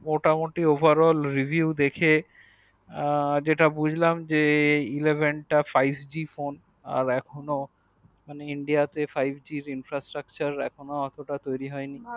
মোটামোটি overall review দেখে আ যেটা বুজলাম যে eleven তা five gphone আর এখনো ইন্ডিয়া তে five g instrutucture এখন এতটা হয়নি